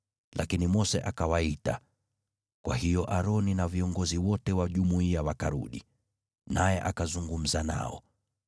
Lakini Mose akawaita, kwa hiyo Aroni na viongozi wote wa jumuiya wakarudi, naye akazungumza nao.